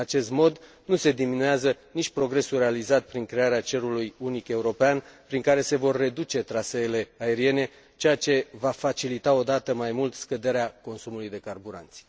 În acest mod nu se diminuează nici progresul realizat prin crearea cerului unic european prin care se vor reduce traseele aeriene, ceea ce va facilita o dată mai mult scăderea consumului de carburanți.